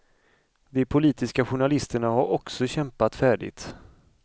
De politiska journalisterna har också kämpat färdigt.